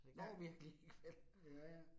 Ja, ja ja